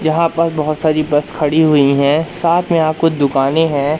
यहां पर बहोत सारी बस खड़ी हुई है साथ में यहां कुछ दुकाने हैं।